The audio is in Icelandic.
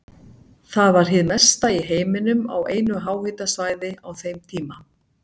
Það var hið mesta í heiminum á einu háhitasvæði á þeim tíma.